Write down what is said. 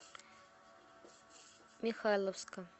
михайловска